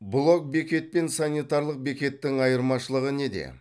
блок бекет пен санитарлық бекеттің айырмашылығы неде